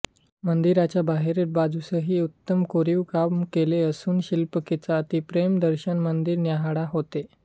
मंदिराच्या बाहेरील बाजूसही उत्तम कोरीवकाम केले असून शिल्पकलेचा अप्रतिम दर्शन मंदिर न्याहाळताना होते